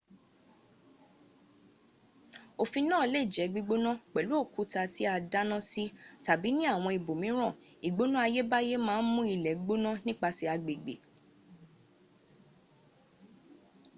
ọ̀fìn náà lẹ jé gbígbóná pèlú òkúta tí a dáná sí tàbí ní àwọn ibòmíràn ìgbóná ayébáyé maà ǹ mú ilè gbóná nípasè agbègbè